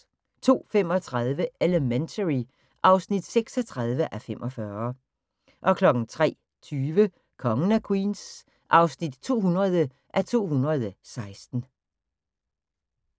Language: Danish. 02:35: Elementary (36:45) 03:20: Kongen af Queens (200:216)